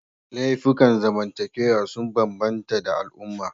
Laifukan zamantakewa sun bambanta da al'umma